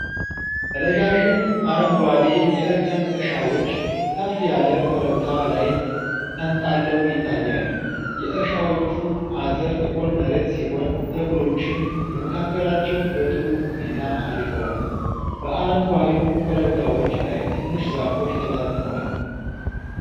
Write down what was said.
ረዣዥም፣ አረንጓዴ የእርከን እርሻዎች ከፍ ያለ ኮረብታ ላይ ተንጣለው ይታያሉ። የእርሻዎቹ አጥር ጥቁር መሬት ሲሆን፤ ተክሎችም በመካከላቸው በጥሩ ሁኔታ አድገዋል። በአረንጓዴው ኮረብታዎች ላይ ትንሽ ዛፎች ተበታትነዋል።